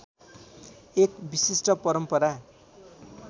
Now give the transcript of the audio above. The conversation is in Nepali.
एक विशिष्ट परम्परा